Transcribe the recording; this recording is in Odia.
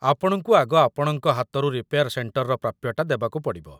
ଆପଣଙ୍କୁ ଆଗ ଆପଣଙ୍କ ହାତରୁ ରିପେୟାର୍ ସେଣ୍ଟର୍‌ର ପ୍ରାପ୍ୟଟା ଦବାକୁ ପଡ଼ିବ ।